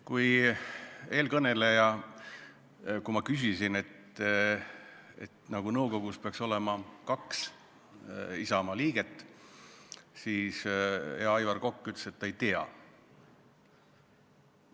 Kui ma märkisin, et nõukogus peaks nagu olema kaks Isamaa liiget, siis hea Aivar Kokk ütles, et ta ei tea seda teist.